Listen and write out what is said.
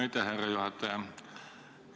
Aitäh, härra juhataja!